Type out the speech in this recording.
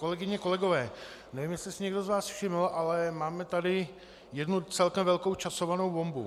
Kolegyně, kolegové, nevím, jestli si někdo z vás všiml, ale máme tady jednu celkem velkou časovanou bombu.